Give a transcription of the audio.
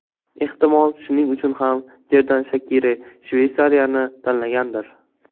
Ehtimol, shuning uchun ham Jerdan Shakiri Shveysariyani tanlagandir.